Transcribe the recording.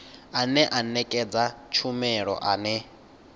ane a nekedza tshumelo ane